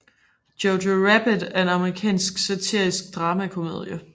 Jojo Rabbit er en amerikansk satirisk dramakomedie